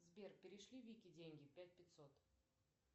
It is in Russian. сбер перешли вике деньги пять пятьсот